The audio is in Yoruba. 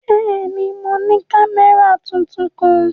Bẹ́ẹ̀ni, mo ni kamẹra tuntun kan.